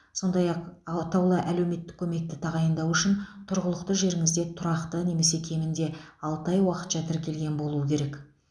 сондай ақ атаулы әлеуметтік көмекті тағайындау үшін тұрғылықты жеріңізде тұрақты немесе кемінде алты ай уақытша тіркелген болуы керек